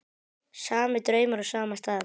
Sami draumur á sama stað.